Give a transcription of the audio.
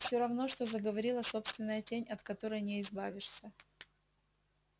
все равно что заговорила собственная тень от которой не избавишься